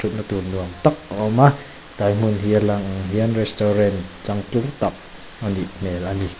tak a awm a tlai hmin hi a lan ang hian restaurant changtlung tak a nih hmel a ni.